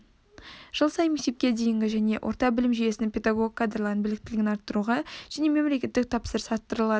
жыл сайын мектепке дейінгі және орта білім жүйесінің педагог кадрларының біліктілігін арттыруға мемлекеттік тапсырыс арттырылады